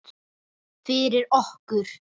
Fyrir okkur.